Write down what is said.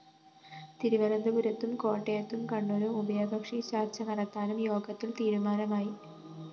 തിരുവനന്തപുരത്തും കോട്ടയത്തും കണ്ണൂരും ഉഭയകക്ഷി ചര്‍ച്ച നടത്താനും യോഗത്തില്‍ തീരുമാനമായി